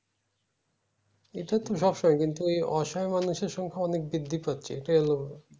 এটা তো কিন্তু এই অসহায় মানুষের সংখ্যা অনেক বৃদ্ধি পাচ্ছে এইটাই হলো